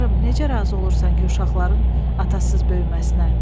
Tanrım, necə razı olursan ki, uşaqların atasız böyüməsinə?